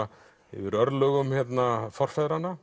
yfir örlögum forfeðranna